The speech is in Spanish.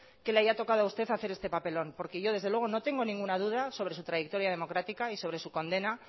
que le haya tocado a usted hacer este papelón porque yo desde luego no tengo ninguna duda sobre su trayectoria democrática y sobre su condena